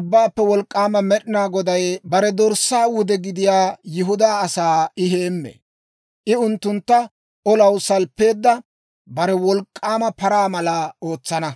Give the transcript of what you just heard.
Ubbaappe Wolk'k'aama Med'inaa Goday bare dorssaa wude gidiyaa Yihudaa asaa I heemmee; I unttuntta olaw salppeedda bare wolk'k'aama paraa mala ootsana.